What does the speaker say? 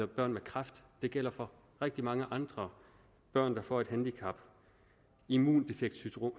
børn med kræft det gælder for rigtig mange andre børn der får et handicap immundefektsyndrom